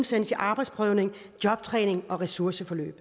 sendes i arbejdsprøvning jobtræning og ressourceforløb